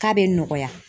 K'a bɛ nɔgɔya